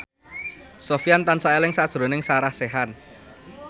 Sofyan tansah eling sakjroning Sarah Sechan